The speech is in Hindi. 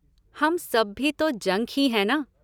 हम सब भी तो जंक ही हैं ना?